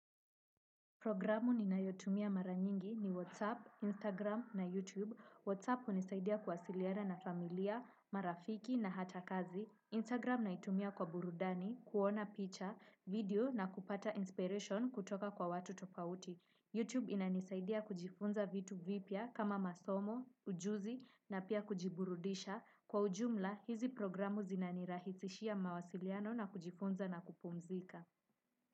Programu ninayotumia mara nyingi ni Whatsapp, Instagram na Youtube. Whatsapp hunisaidia kuwasiliana na familia, marafiki na hata kazi. Instagram naitumia kwa burudani, kuona picha, video na kupata inspiration kutoka kwa watu tofauti. Youtube inanisaidia kujifunza vitu vipya kama masomo, ujuzi na pia kujiburudisha. Kwa ujumla, hizi programu zinanirahisishia mawasiliano na kujifunza na kupumzika.